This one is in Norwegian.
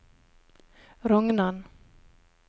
Rognan